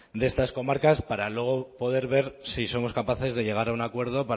de estas comarcas para luego poder ver si somos capaces de llegar a un acuerdo